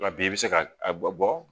Nka bi i bɛ se ka a bɔ